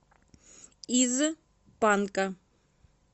из панка